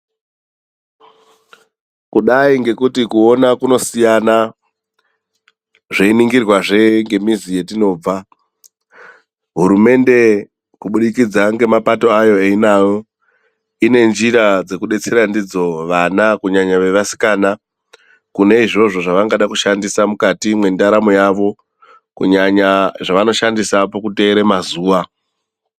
Kudai ngokuti kuona kunosiyana zveiningirwa zve ngemizi yatinobva hurumende kuburikidza nemapato ainawo Inenjira dzekudetsera ndidzo vana kunyanya nyanya vasikana kune izvozvo zvavangade kushandisa mukati mendarama yavo kunyanya zvavanoshandisa pakuteera mazuva.